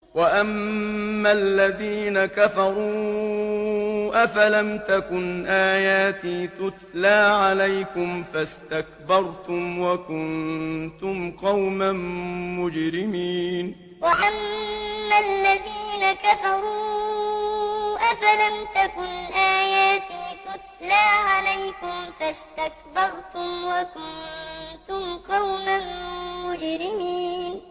وَأَمَّا الَّذِينَ كَفَرُوا أَفَلَمْ تَكُنْ آيَاتِي تُتْلَىٰ عَلَيْكُمْ فَاسْتَكْبَرْتُمْ وَكُنتُمْ قَوْمًا مُّجْرِمِينَ وَأَمَّا الَّذِينَ كَفَرُوا أَفَلَمْ تَكُنْ آيَاتِي تُتْلَىٰ عَلَيْكُمْ فَاسْتَكْبَرْتُمْ وَكُنتُمْ قَوْمًا مُّجْرِمِينَ